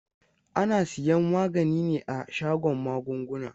Ana siyan magani ne a shagon magunguna.